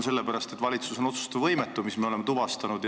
Sellepärast, et valitsus on otsustusvõimetu, nagu me oleme tuvastanud.